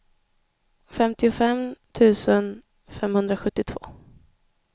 femtiofem tusen femhundrasjuttiotvå